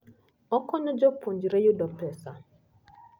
Okonyo jopuonjre yudo pesa.